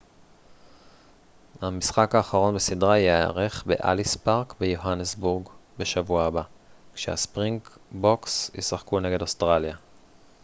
המשחק האחרון בסדרה ייערך באליס פארק ביוהנסבורג בשבוע הבא כשהספרינגבוקס ישחקו נגד אוסטרליה